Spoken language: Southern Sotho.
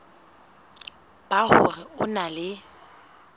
ba hore o na le